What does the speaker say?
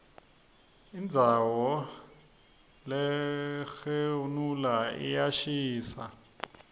indzauso lerxgenhula iyashisa